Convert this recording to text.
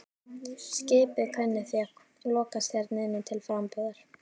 Skipið kunni því að lokast hér inni til frambúðar.